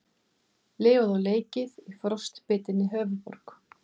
Lifað og leikið í frostbitinni höfuðborg